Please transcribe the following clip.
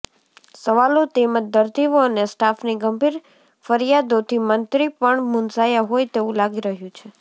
સવાલો તેમજ દર્દીઓ અને સ્ટાફની ગંભિર ફરિયાદોથી મંત્રી પણ મુંઝાયા હોય તેવું લાગી રહ્યું છે